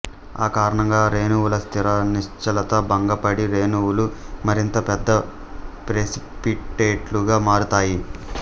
ఆ కారణంగా రేణువుల స్థిర నిశ్చలత భంగపడి రేణువులు మరింత పెద్ద ప్రెసిపిటేట్లుగా మారతాయి